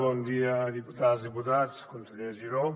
bon dia diputades diputats conseller giró